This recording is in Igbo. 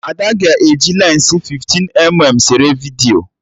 Ada ga-eji lensi 15mm sere vidiyo